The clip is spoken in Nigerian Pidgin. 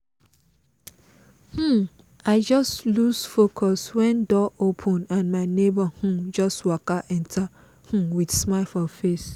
um i just loose focus when door open and my neighbor um just waka enter um with smile for face